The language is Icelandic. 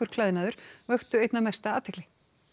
klæðnaður vöktu einna mesta athygli